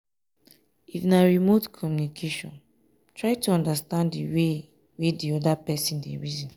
if na remote communication try to understand di wey di oda person dey reason